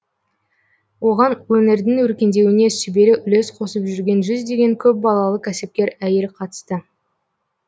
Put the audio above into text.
оған өңірдің өркендеуіне сүбелі үлес қосып жүрген жүздеген көпбалалы кәсіпкер әйел қатысты